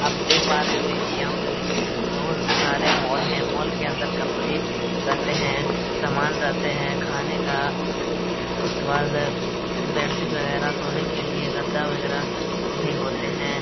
आप देख पा रहे होंगे की बहुत सारा यहां पे मॉल है मॉल के अंदर कपड़े रहते हैं समान रहते हैं खाने का उसके बाद बेडशीट वगैरा सोने के लिए गद्दा वगैरा ही होते हैं।